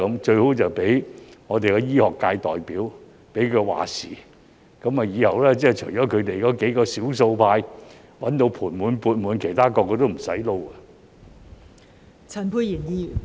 最好是讓醫學界代表"話事"，以後除了他們幾名少數派賺得盤滿缽滿之外，其他人人也不用做了。